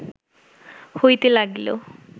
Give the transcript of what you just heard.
হইতে লাগিল